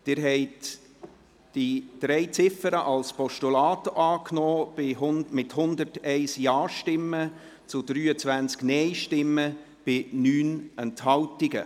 Sie haben diese drei Ziffern als Postulat angenommen mit 101 Ja- zu 23 Nein-Stimmen bei 9 Enthaltungen.